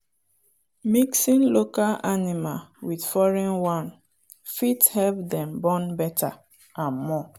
mixing local animal with foreign one fit help them born better and more.